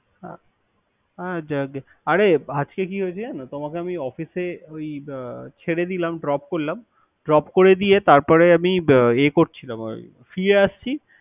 আ আরে আজকে কি হয়েছে জানো, ঐ যে তোমাকে না অফিসে ওই ছেড়ে দিলাম Drop করলাম। Drop করে দিয়ে, তারপরে আমি বে এ করছিলাম ওই ফিরে আসছি।